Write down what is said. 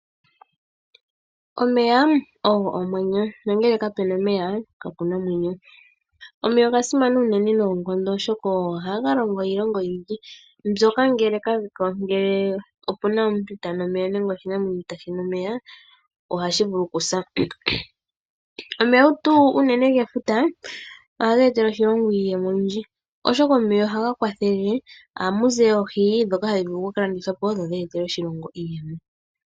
Omeya ogo omwenyo nongele kapu na omeya, kapu na omwenyo. Omeya oga simana unene noonkondo oshoka ogo haga longo iilonga oyindji, mbyoka ngele kage po, ngele opu na omuntu itaa nu omeya nenge oshinamwenyo itaashi nu omeya, ohashi vulu okusa. Omeya unene tuu gefuta, ohaga etele oshilongo iiyemo oyindji oshoka omeya ohaga kwathele. Ohamu vulu okuza oohi ndhoka hadhi vulu okuka landithwa po dho dhi etele oshilongo iiyemo.